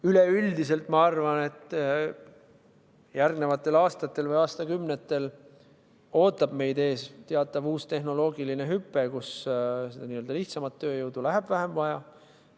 Üleüldiselt, ma arvan, et järgnevatel aastatel või aastakümnetel ootab meid ees teatav uus tehnoloogiline hüpe, kus seda lihtsamat tööjõudu läheb vähem vaja.